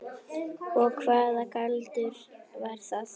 Og hvaða galdur var það?